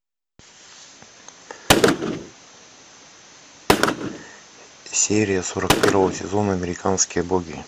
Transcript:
серия сорок первого сезона американские боги